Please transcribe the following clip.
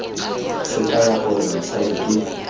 se kaya gore mosadi ke